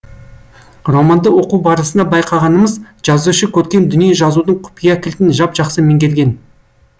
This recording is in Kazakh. романды оқу барысында байқағанымыз жазушы көркем дүние жазудың құпия кілтін жап жақсы меңгерген